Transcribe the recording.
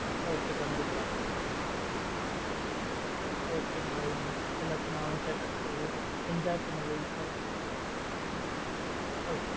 Okay கண்டிப்பா okay bye மா எல்லாத்தையும் நானும் கேட்டேன்னு சொல்லு enjoy பண்ணு life ஆ